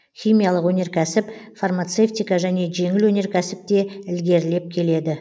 химиялық өнеркәсіп фармацевтика және жеңіл өнеркәсіп те ілгерілеп келеді